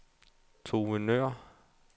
Tove Nøhr